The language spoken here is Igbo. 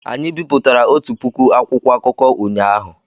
Anyị bipụtara otu puku akwụkwọ akụkọ ụnyahụ